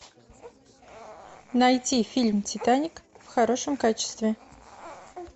найти фильм титаник в хорошем качестве